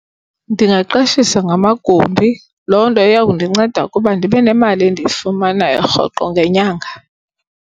Ndingaqashisa ngamagumbi, loo nto iya kundinceda ukuba ndibe nemali endiyifumanayo rhoqo ngenyanga.